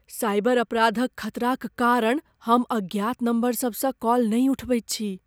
Cyber अपराधक खतराक कारण हम अज्ञात नम्बरसभसँ कॉल नहि उठबैत छी।